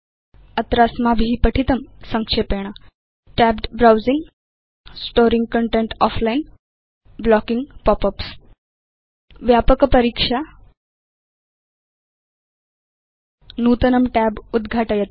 अत्र अस्माभि पठितं संक्षेपेण tabbed browsing Storing content offline blocking pop ups व्यापक परीक्षा नूतनं tab उद्घाटयतु